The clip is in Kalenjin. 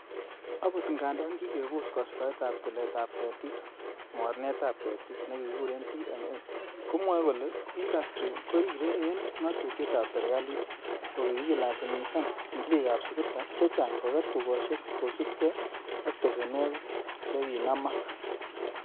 Agot ngandan kikebos kastoet ab tilet ab ketik, mornetab ketik nekikuren TMA, komwoe kole indastri korire en ngatutiet ab serkalit, kokikilasimisan tilikab sukuta chechang koger tugosiek kosiibge ak besenwogik chekinamak.